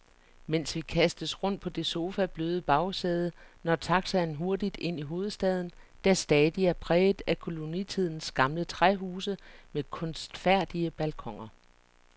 Mens vi kastes rundt på det sofabløde bagsæde, når taxaen hurtigt ind i hovedstaden, der stadig er præget af kolonitidens gamle træhuse med kunstfærdige balkoner.